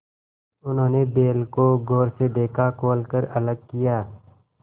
उन्होंने बैल को गौर से देखा खोल कर अलग किया